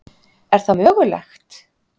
Er það mögulegt?